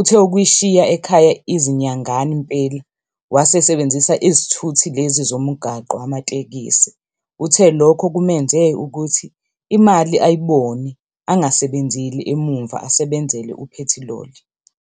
Uthe ukuyishiya ekhaya izinyangana impela wase esebenzisa izithuthi lezi zomgwaqo, amatekisi. Uthe lokho kumenze ukuthi imali ayibone, angasebenzeli emumva asebenzele uphethiloli.